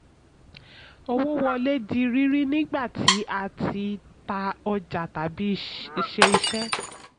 owó wọlé di rírí nígbà tí a tí a tà ọjà tàbí ṣe iṣẹ́.